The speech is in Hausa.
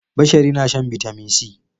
Bashari na shan Bitamin C.